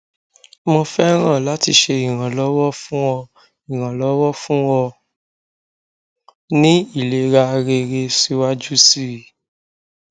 mo fẹràn lati ṣe iranlọwọ fun ọ iranlọwọ fun ọ ni ilera rere siwaju sii